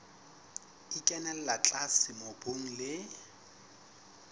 e kenella tlase mobung le